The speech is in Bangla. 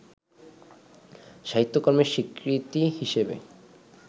সাহিত্যকর্মের স্বীকৃতি হিসেবে